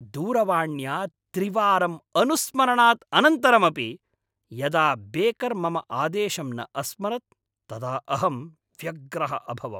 दूरवाण्या त्रिवारं अनुस्मारणात् अनन्तरमपि यदा बेकर् मम आदेशं न अस्मरत् तदा अहं व्यग्रः अभवम्।